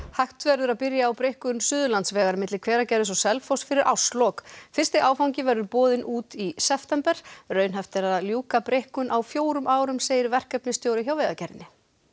hægt verður að byrja á breikkun Suðurlandsvegar milli Hveragerðis og Selfoss fyrir árslok fyrsti áfangi verður boðinn út í september raunhæft er að ljúka breikkun á fjórum árum segir verkefnisstjóri hjá Vegagerðinni